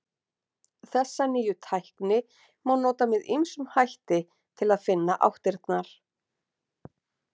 Þessa nýju tækni má nota með ýmsum hætti til að finna áttirnar.